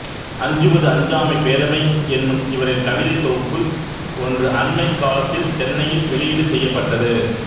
அஞ்சுவது அஞ்சாமை பேதமை என்னும் இவரின் கவிதைதொகுப்பு ஒன்று அணமைக் காலத்தில் சென்னையில் வெளியீடு செய்யப்பட்டது